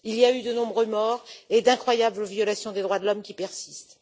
Il y a eu de nombreux morts et d'incroyables violations des droits de l'homme qui se poursuivent.